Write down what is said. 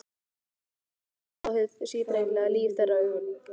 Ég mun aldrei sjá hið síbreytilega líf þeirra augum.